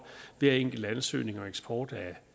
hver enkelt ansøgning og eksport af